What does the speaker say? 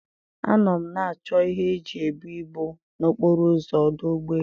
A nọ m na-achọ ihe eji ebu ibu na okporo ụzọ ọdụ ụgbọ elu.